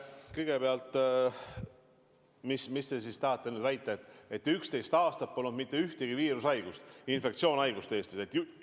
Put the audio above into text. Kõigepealt, kas te tahate nüüd väita, et 11 aastat polnud mitte ühtegi viirushaigust, infektsioonhaigust Eestis?